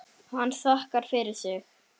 Hann þakkar fyrir sig.